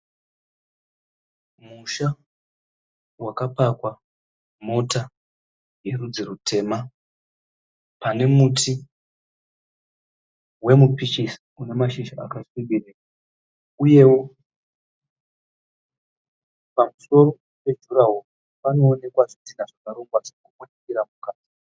Musha wakapakwa mota yerudzi rutema, pane muti wemupichisi une mashizha akasvibira uyewo pamusoro pejurahoro panoonekwa zvidhinha zvakarongwa zvakawandira mukati